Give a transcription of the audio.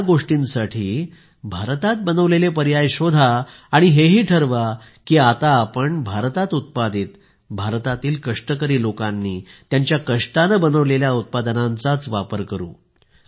त्या गोष्टींसाठी भारतात बनविलेले पर्याय शोधा आणि हेही ठरवा की आता आपण भारतात उत्पादित भारतातील कष्टकरी लोकांनी त्यांच्या कष्टाने बनविलेल्या उत्पादनांचा वापर करू